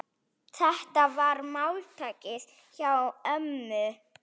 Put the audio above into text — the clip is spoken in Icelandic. Þetta var máltæki hjá ömmu.